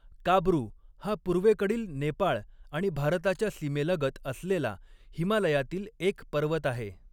काब्रू हा पूर्वेकडील नेपाळ आणि भारताच्या सीमेलगत असलेला हिमालयातील एक पर्वत आहे.